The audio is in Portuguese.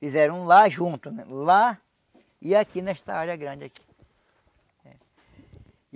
Fizeram lá junto, lá e aqui nesta área grande aqui.